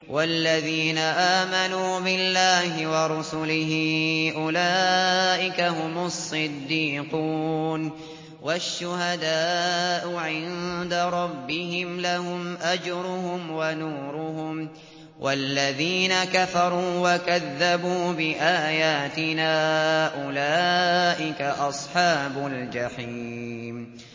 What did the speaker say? وَالَّذِينَ آمَنُوا بِاللَّهِ وَرُسُلِهِ أُولَٰئِكَ هُمُ الصِّدِّيقُونَ ۖ وَالشُّهَدَاءُ عِندَ رَبِّهِمْ لَهُمْ أَجْرُهُمْ وَنُورُهُمْ ۖ وَالَّذِينَ كَفَرُوا وَكَذَّبُوا بِآيَاتِنَا أُولَٰئِكَ أَصْحَابُ الْجَحِيمِ